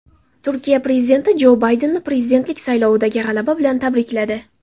Turkiya prezidenti Jo Baydenni prezidentlik saylovidagi g‘alaba bilan tabrikladi.